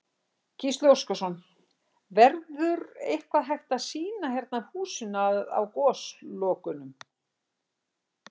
Gísli Óskarsson: Verður eitthvað hægt að sýna hérna af húsinu á Goslokunum?